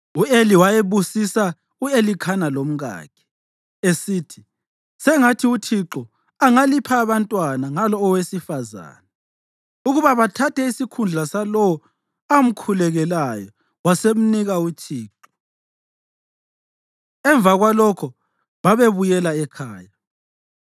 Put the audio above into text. U-Eli wayebusisa u-Elikhana lomkakhe, esithi, “Sengathi uThixo angalipha abantwana ngalo owesifazane ukuba bathathe isikhundla salowo amkhulekelayo wasemnika uThixo.” Emva kwalokho babebuyela ekhaya.